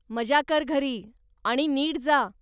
मजा कर घरी आणि नीट जा.